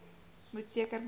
moet seker maak